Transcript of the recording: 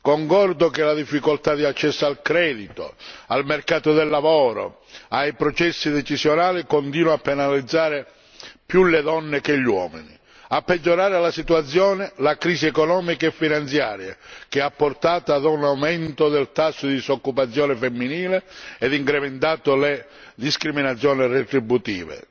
Concordo che la difficoltà di accesso al credito, al mercato del lavoro, ai processi decisionali continua a penalizzare più le donne che gli uomini, a peggiorare la situazione la crisi economica e finanziaria che ha portato a un aumento del tasso di disoccupazione femminile e incrementato le discriminazioni retributive.